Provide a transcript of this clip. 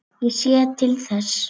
Ég sé til þess.